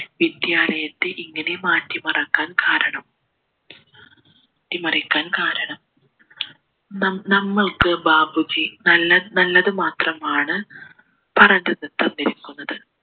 വിദ്യാലയത്തെ ഇങ്ങനെ മാറ്റി മറക്കാൻ കാരണം മാറ്റിമറക്കാൻ കാരണം നമ്മൾക്ക് ബാപ്പുജി നല്ല നല്ലത് മാത്രമാണ് പറഞ്ഞ് തന്നിരിക്കുന്നത്